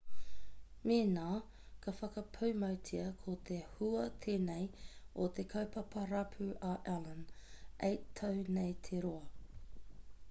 mēnā ka whakapūmautia ko te hua tēnei o te kaupapa rapu a allan 8 tau nei te roa